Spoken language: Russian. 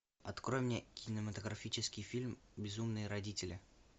открой мне кинематографический фильм безумные родители